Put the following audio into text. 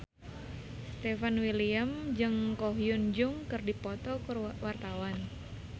Stefan William jeung Ko Hyun Jung keur dipoto ku wartawan